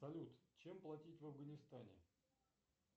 салют чем платить в афганистане